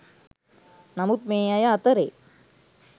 නමුත් මේ අය අතරේ